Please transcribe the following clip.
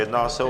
Jedná se o